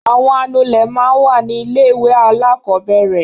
Àwọn anulẹ̀ máa ń wà ní ilé-ìwé alákọ̀ọ́bẹ̀rẹ̀.